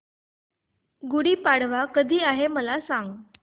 गुढी पाडवा कधी आहे मला सांग